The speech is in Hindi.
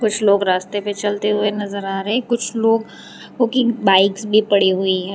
कुछ लोग रास्ते पे चलते हुए नजर आ रहे हैं कुछ लोग ओ की बाइक्स भी पड़ी हुई हैं।